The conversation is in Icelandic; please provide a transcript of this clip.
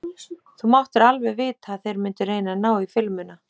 Þú máttir alveg vita að þeir mundu reyna að ná í filmuna!